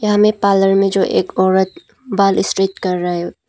यहां में पार्लर में जो एक औरत बाल स्ट्रेट कर रहे--